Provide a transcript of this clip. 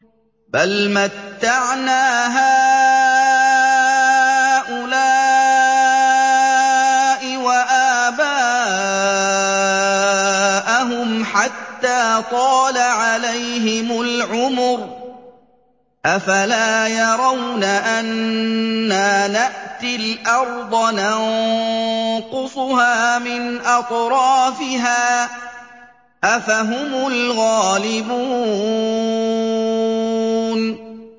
بَلْ مَتَّعْنَا هَٰؤُلَاءِ وَآبَاءَهُمْ حَتَّىٰ طَالَ عَلَيْهِمُ الْعُمُرُ ۗ أَفَلَا يَرَوْنَ أَنَّا نَأْتِي الْأَرْضَ نَنقُصُهَا مِنْ أَطْرَافِهَا ۚ أَفَهُمُ الْغَالِبُونَ